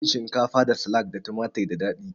Cin shinkafa da salak da tumatur da dadi